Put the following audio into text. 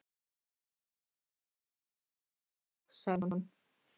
Fáðu þér súrmjólk, elskan, sagði hún.